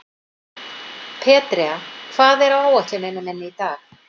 Petrea, hvað er á áætluninni minni í dag?